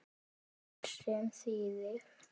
Sem þýðir